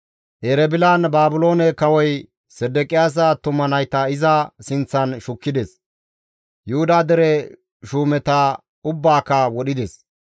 Erebilan Baabiloone kawoy Sedeqiyaasa attuma nayta iza sinththan shukkides; Yuhuda dere shuumeta ubbaaka wodhides.